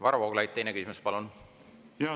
Varro Vooglaid, teine küsimus, palun!